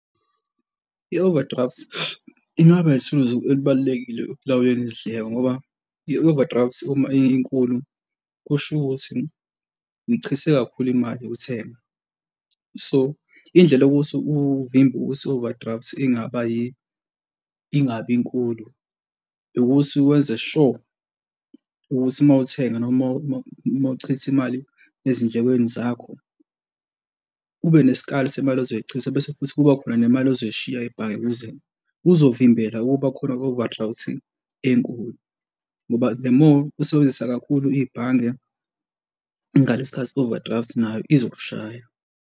I-overdraft ingaba ithuluzi elibalulekile ekulawuleni izindleko ngoba i-overdraft uma inkulu kusho ukuthi ngichithe kakhulu imali yokuthenga so indlela yokuthi uvimbe ukuthi i-overdraft ingaba ingabi nkulu ukuthi wenze sure ukuthi mawuthenga noma uma, uma uchitha imali ezindlekweni zakho, ube nesikali semali ozoyichitha bese futhi kuba khona nemali ozoyishiya ebhange ukuze kuzovimbela ukuba khona kwe-overdraft-i enkulu ngoba, the more usebenzisa kakhulu ibhange ngalesi khathi i-overdraft nayo izokushaya.